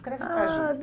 Descreve para a gente.